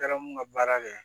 Taara mun ka baara kɛ